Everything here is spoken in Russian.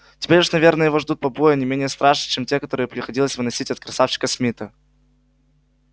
теперь уж наверное его ждут побои не менее страшные чем те которые приходилось выносить от красавчика смита